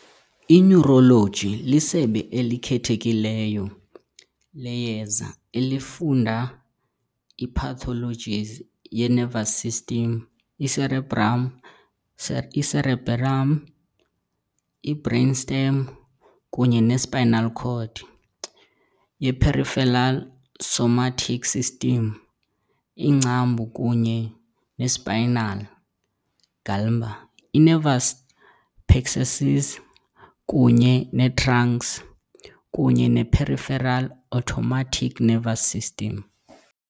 I-Neurology lisebe elikhethekileyo leyeza elifunda i-pathologies ye- nervous system, i-cerebrum, i-cerebellum, i-brainstem kunye ne- spinal cord, ye-peripheral somatic system, iingcambu kunye ne-spinal ganglia, i-nerve plexuses kunye ne-trunks, kunye ne- peripheral autonomic nervous system.